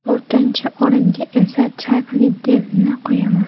To‘rtinchi o‘ringa esa Chak Liddellni qo‘yaman.